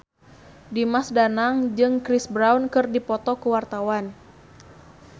Dimas Danang jeung Chris Brown keur dipoto ku wartawan